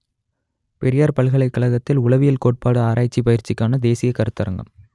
பெரியார் பல்கலைக் கழகத்தில் உளவியல் கோட்பாடு ஆராய்ச்சி பயிற்சிக்கான தேசிய கருத்தரங்கம்